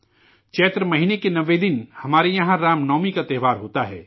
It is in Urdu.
چیتر مہینے کے نوویں دن ہمارے یہاں رام نومی کا تہوار ہوتا ہے